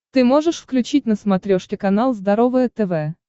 ты можешь включить на смотрешке канал здоровое тв